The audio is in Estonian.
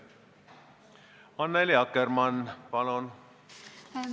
Annely Akkermann, palun!